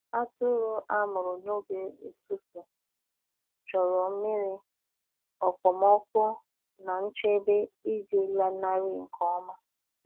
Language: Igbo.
Atụrụ a mụrụ n’oge ụtụtụ chọrọ nmiri, okpomọkụ, na nchebe iji lanarị nke ọma.